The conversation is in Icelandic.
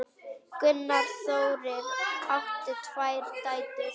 Gunnar Þórir átti tvær dætur.